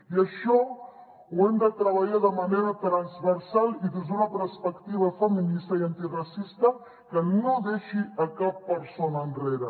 i això ho hem de treballar de manera transversal i des d’una perspectiva feminista i antiracista que no deixi cap persona enrere